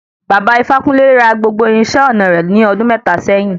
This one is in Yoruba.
Bàbá ifákúnle ra gbogbo irinṣẹ́ ọnà re ní ọdún mẹ́ta sẹ́yìn.